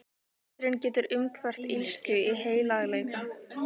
Iðrun getur umhverft illsku í heilagleika.